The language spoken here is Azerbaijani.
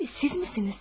Sizmisiniz?